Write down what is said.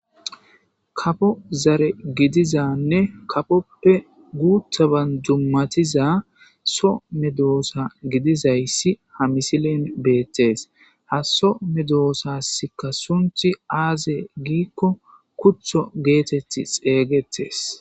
kafo zare gidizanne kapoppe guuthaban jummatiza so me doosa gidizayssi ha misilen beettees ha so medoosaska sunthi aaze giikko kuto geetetti xeeygettes